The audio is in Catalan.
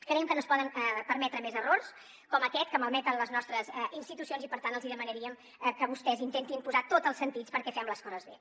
creiem que no es poden permetre més errors com aquest que malmeten les nostres institucions i per tant els demanaríem que vostès intentin posar tots els sentits perquè fem les coses bé